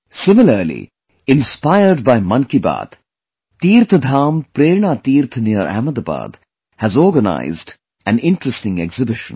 Similarly, inspired by 'Mann Ki Baat', TeerthdhamPrernaTeerth near Ahmadabad has organized an interesting exhibition